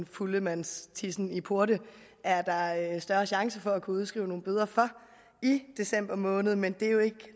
fuldemandstissen i porte er der større chance for at kunne udskrive nogle bøder for i december måned men det er jo ikke